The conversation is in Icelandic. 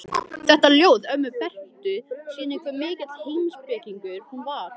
Þetta ljóð ömmu Bertu sýnir hve mikill heimspekingur hún var.